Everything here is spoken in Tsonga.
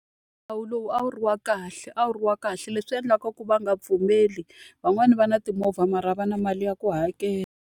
Nawu lowu a wu ri wa kahle a wu ri wa kahle. Leswi endlaka ku va nga pfumeli, van'wani va na timovha mara a va na mali ya ku hakela.